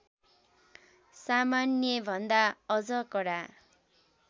सामान्यभन्दा अझ कडा